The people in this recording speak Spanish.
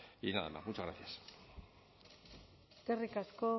y nada más muchas gracias eskerrik asko